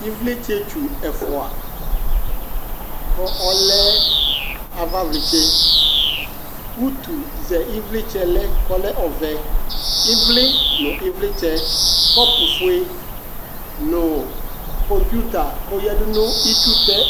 Ɩvlɩtsɛtsu ɛfʋa, kɔ ɔlɛ avavlɩtsɛ , utuzɛ ɩvlɩtsɛlɛ k'ɔlɛ ɔvɛ , ɩvlɩ nʋ ivlɩts , kɔpʋfue nʋ kɔŋpuita k'oyǝdu nʋ itsutɛ